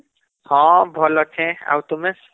ହଁ ଭଲ ଅଛେ , ଆଉ ତୁମେ